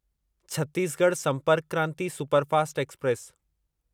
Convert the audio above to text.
Chhattisgarh Sampark Kranti superfast express